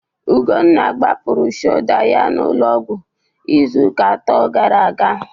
Ugwunna gbapụrụ shoda ya n'ụlọọgwụ izuụka atọ gara aga.